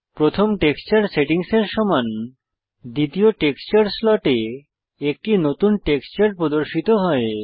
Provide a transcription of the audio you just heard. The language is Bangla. প্রথম টেক্সচার সেটিংসের সমান দ্বিতীয় টেক্সচার স্লটে একটি নতুন টেক্সচার প্রদর্শিত হয়